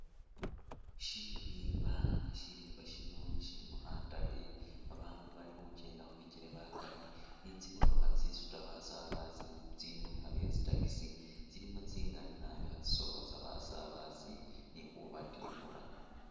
Shirimba nga shirimba shino shilimo khatale bandu balikhukyenda khubikele bakaali ni tsi'motokha tsisuta basabasi tsili mubikha byetsi taxi tsilimo tsingali naabi khatsisoolosa basabasi khubatikhula